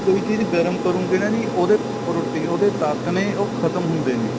ਕੋਈ ਚੀਜ਼ ਗਰਮ ਕਰੋਂਗੇ ਨਾ ਜੀ ਉਹਦੇ protein ਉਹਦੇ ਤੱਤ ਨੇ ਉਹ ਖਤਮ ਹੁੰਦੇ ਨੇ